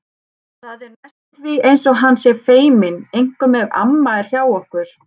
Það er næstum því eins og hann sé feiminn, einkum ef amma er hjá okkur.